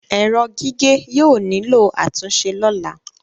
Ẹrọ gige yóò nilo atunṣe lọla